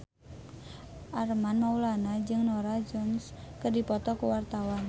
Armand Maulana jeung Norah Jones keur dipoto ku wartawan